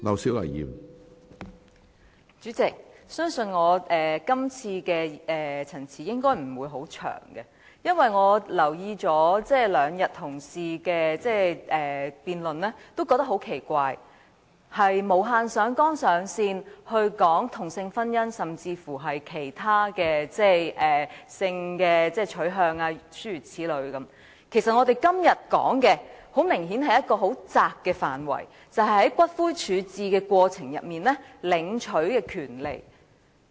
主席，我相信我今次的發言應該不會很長，因為我留意到，同事在這兩天的辯論很奇怪，他們無限上綱上線地討論同性婚姻，甚至是性取向等問題。其實，我們今天討論的範圍明顯是很狹窄的，便是在骨灰處置程序中領取骨灰的權利。